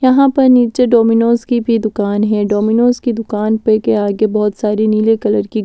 यहां पर नीचे डोमिनोज की भी दुकान है डोमिनोज की दुकान पे के आगे बहोत सारी नीले कलर की--